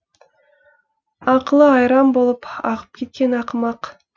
ақылы айран болып ағып кеткен ақымақ